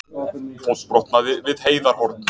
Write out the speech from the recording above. Fótbrotnaði við Heiðarhorn